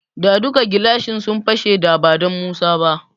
Da duka gilashin su fashe da badan Musa ba.